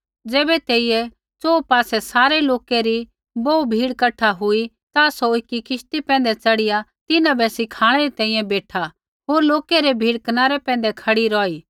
ज़ैबै तेइरै च़ोहू पासै सारै लोकै री बोहू भीड़ कठा हुई ता सौ एकी किश्ती पैंधै च़ढ़िया तिन्हां बै सिखाणै री तैंईंयैं बेठा होर लोकै री भीड़ कनारै पैंधै खड़ी रौही